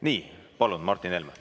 Nii, palun, Martin Helme!